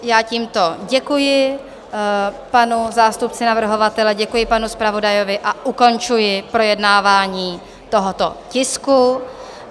Já tímto děkuji panu zástupci navrhovatele, děkuji panu zpravodaji a ukončuji projednávání tohoto tisku.